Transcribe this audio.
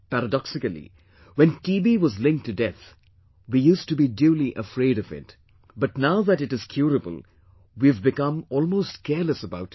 Paradoxically, when TB was linked to death we used to be duly afraid of it; but now that it is curable, we have become almost careless about it